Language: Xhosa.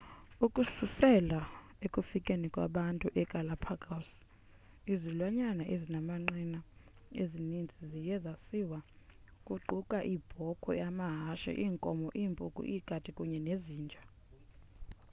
ukususela ekufikeni kwabantu egalapagos izilwanyana ezinamanqina ezininzi ziye zaziswa kuquka iibhokhwe amahashe iinkomo iimpuku iikati kunye nezinja